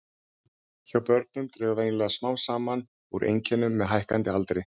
Hjá börnum dregur venjulega smám saman úr einkennum með hækkandi aldri.